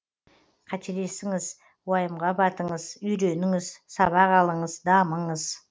қателесіңіз уайымға батыңыз үйреніңіз сабақ алыңыз дамыңыз